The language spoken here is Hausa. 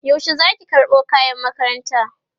yaushe Zaki karɓo kayan makaranta?